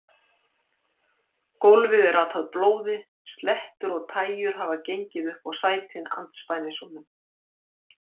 Gólfið er atað blóði, slettur og tægjur hafa gengið upp á sætin andspænis honum.